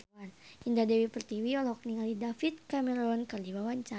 Indah Dewi Pertiwi olohok ningali David Cameron keur diwawancara